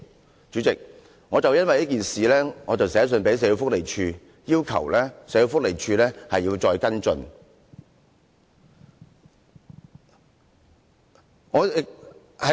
代理主席，我因為這件事致函社會福利署，要求社會福利署再作跟進。